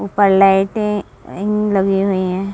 उपर lighting लगी हुई है।